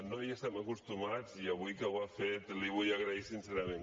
no hi estem acostumats i avui que ho ha fet li ho vull agrair sincerament